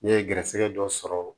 Ne ye garisigɛ dɔ sɔrɔ